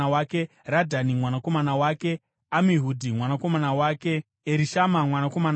Radhani mwanakomana wake, Amihudhi mwanakomana wake, Erishama mwanakomana wake,